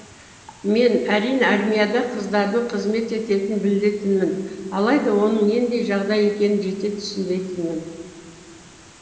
мен әрине армияда қыздардың қызмет ететінін білетінмін алайда оның нендей жағдай екенін жете түсінбейтінмін